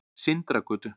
Sindragötu